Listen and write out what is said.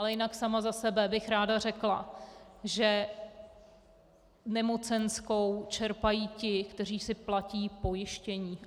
Ale jinak sama za sebe bych ráda řekla, že nemocenskou čerpají ti, kteří si platí pojištění.